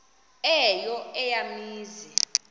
eyo eya mizi